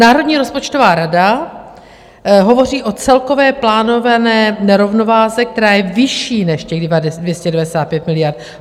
Národní rozpočtová rada hovoří o celkové plánované nerovnováze, která je vyšší než těch 295 miliard.